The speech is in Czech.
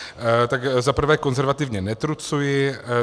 Tak za prvé konzervativně netrucuji.